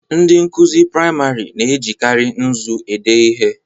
Ndị nkụzi priamarị na-ejikari nzu ede ihe.